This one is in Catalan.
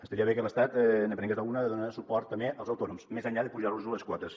estaria bé que l’estat ne prengués alguna de donar suport també als autònoms més enllà de pujar los les quotes